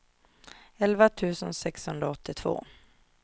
elva tusen sexhundraåttiotvå